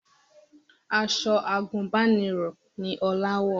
Aṣọ àgùnbánirọ̀ ni Ọlá wọ̀